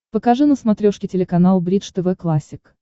покажи на смотрешке телеканал бридж тв классик